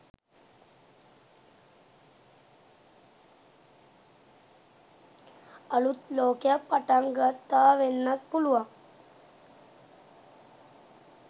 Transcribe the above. අලුත් ලෝකයක් පටන් ගත්තා වෙන්නත් පුළුවන්.